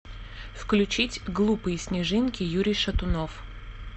включить глупые снежинки юрий шатунов